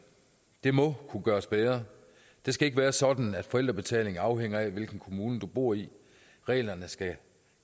det må kunne gøres bedre det skal ikke være sådan at forældrebetaling afhænger af hvilken kommune du bor i reglerne skal